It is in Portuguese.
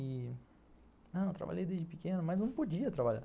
Eu trabalhei desde pequeno, mas não podia trabalhar.